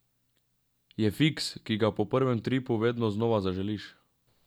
Je fiks, ki ga po prvem tripu vedno znova zaželiš.